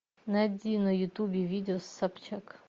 найди на ютубе видео с собчак